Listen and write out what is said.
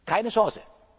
Keine Chance.